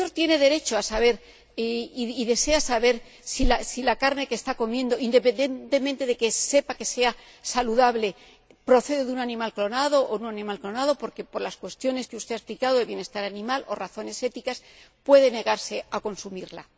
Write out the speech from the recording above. El consumidor tiene derecho a saber y desea saber si la carne que está comiendo, independientemente de que sepa si es saludable, procede de un animal clonado o no clonado, porque por las cuestiones que usted ha explicado del bienestar animal, o por razones éticas, puede negarse a consumirla.